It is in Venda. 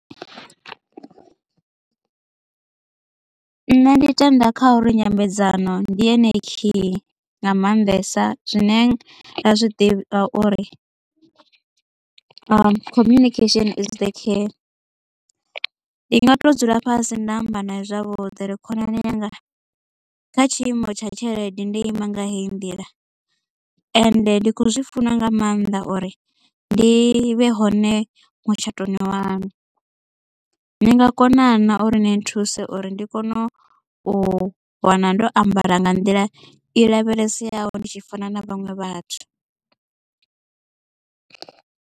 Nṋe ndi tenda kha uri nyambedzano ndi yone khiyi nga maanḓesa zwine nda zwi ḓivha uri communication is the key ndi nga to dzula fhasi nda amba nae zwavhuḓi uri khonani yanga kha tshiimo tsha tshelede ndo ima nga heyi ndila ende ndi kho zwi funa nga maanḓa uri ndi vhe hone mutshatoni waṋu ni nga kona na uri ni nthuse uri ndi kone u wana ndo ambara nga nḓila i lavheleseaho ndi tshi fana na vhaṅwe vhathu.